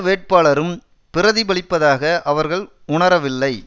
வேட்பாளரும் பிரதிபலிப்பதாக அவர்கள் உணரவில்லை